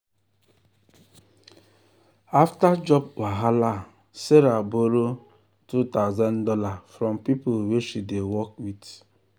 after job wahala sarah borrow two thousand dollars from people wey she dey work with.